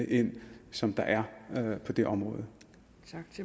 viden som der er på det område